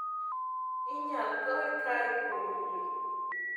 Inyal goye kae kuom yie